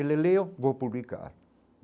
Ele leu, vou publicar.